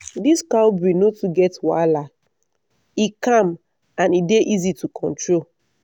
this cow breed no too get wahala — e calm and e dey easy to control